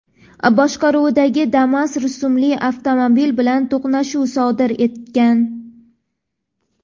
boshqaruvidagi Damas rusumli avtomobil bilan to‘qnashuv sodir etgan.